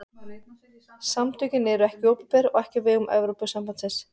Samtökin eru ekki opinber og ekki á vegum Evrópusambandsins.